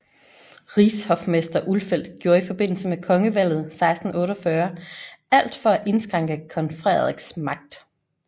Rigshofmester Ulfeldt gjorde i forbindelse med kongevalget 1648 alt for at indskrænke kong Frederiks magt